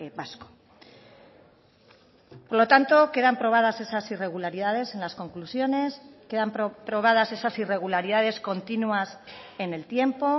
vasco por lo tanto quedan probadas esas irregularidades en las conclusiones quedan probadas esas irregularidades continuas en el tiempo